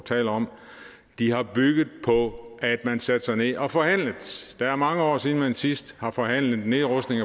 taler om har bygget på at man satte sig ned og forhandlede det er mange år siden at man sidst har forhandlet nedrustning